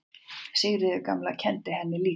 Sigríður gamla kenndi henni líka.